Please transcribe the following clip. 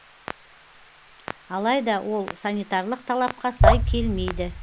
алайда ол санитарлық талапқа сай келмейді